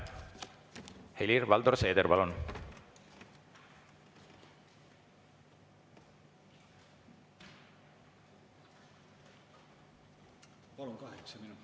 Helir-Valdor Seeder, palun!